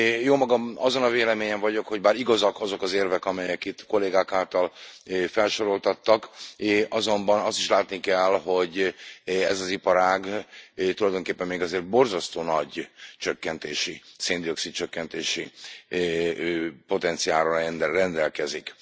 Jómagam azon a véleményen vagyok, hogy bár igazak azok az érvek, amelyek itt kollégák által felsoroltattak, azonban azt is látni kell, hogy ez az iparág tulajdonképpen még azért borzasztó nagy csökkentési, szén dioxid csökkentési potenciállal rendelkezik.